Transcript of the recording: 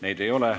Neid ei ole.